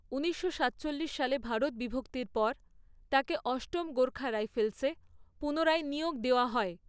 ঊনিশশো সাতচল্লিশ সালে ভারত বিভক্তির পর, তাকে অষ্টম গোর্খা রাইফেলসে পুনরায় নিয়োগ দেওয়া হয়।